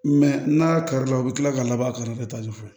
n'a kari la u bɛ kila ka labɔ a kari la ka taa so